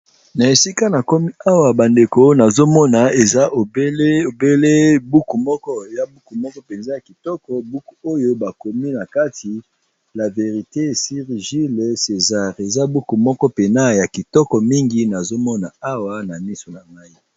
Na esika nakomi awa bandeko eza obele buku moko ya kitoko penza nde nazomona awa